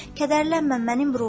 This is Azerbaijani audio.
Kədərlənmə, mənim ruhum,